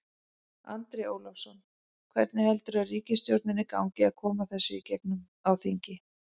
Andri Ólafsson: Hvernig heldurðu ríkisstjórninni gangi að koma þessu í gegn á þingi?